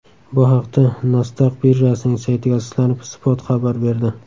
Bu haqda Nasdaq birjasining saytiga asoslanib, Spot xabar berdi .